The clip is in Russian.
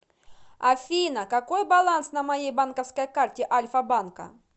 афина какой баланс на моей банковской карте альфа банка